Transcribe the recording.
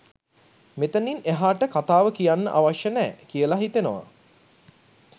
මෙතනින් එහාට කතාව කියන්න අවශ්‍ය නෑ කියලා හිතෙනවා.